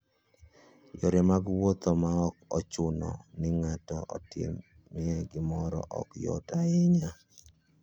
Yore mag wuoth ma ok ochuno ni ng'ato otimie gimoro, ok yot ahinya.